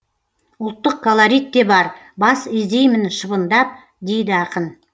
ұлттық колорит те бар бас изеймін шыбындап дейді ақын